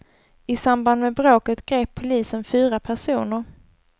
I samband med bråket grep polisen fyra personer.